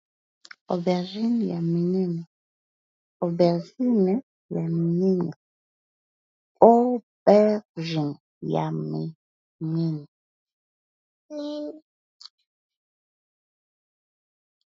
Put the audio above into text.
Aubergine ya minene, aubergine ya minene.